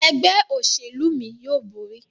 Ẹgbẹ́ òṣèlú mí yóò bóri.